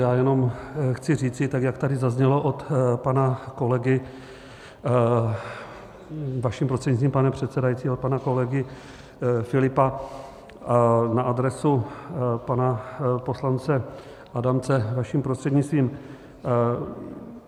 Já jenom chci říci, tak jak tady zaznělo od pana kolegy vaším prostřednictvím, pane předsedající, od pana kolegy Filipa na adresu pana poslance Adamce, vaším prostřednictvím.